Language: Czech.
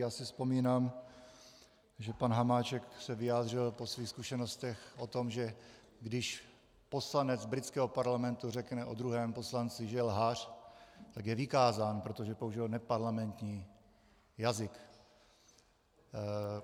Já si vzpomínám, že pan Hamáček se vyjádřil po svých zkušenostech o tom, že když poslanec britského parlamentu řekne o druhém poslanci, že je lhář, tak je vykázán, protože použil neparlamentní jazyk.